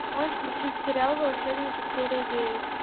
можешь включить сериал волшебники серия девять